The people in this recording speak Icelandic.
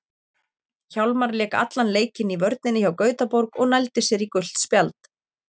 Hjálmar lék allan leikinn í vörninni hjá Gautaborg og nældi sér í gult spjald.